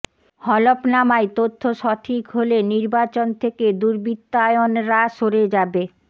হলফনামায় তথ্য সঠিক হলে নির্বাচন থেকে দুর্বৃত্তায়নরা সরে যাবে